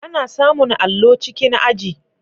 Ana samun allo cikin aji.